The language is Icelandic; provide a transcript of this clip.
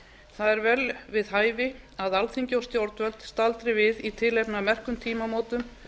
það er vel við hæfi að alþingi og stjórnvöld staldri við í tilefni af merkum tímamótum